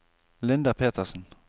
Linda Petersen